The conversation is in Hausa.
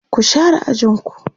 ku share ajinku!